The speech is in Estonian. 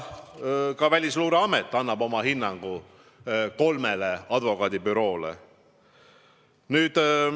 Ka Välisluureamet annab oma hinnangu kolmele advokaadibüroole.